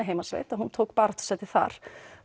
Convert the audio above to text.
heimasveit að hún tók baráttusæti þar